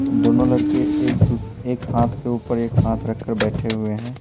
दोनों लड़के एक दूस एक हाथ के ऊपर एक हाथ रखकर बैठे हुए हैं।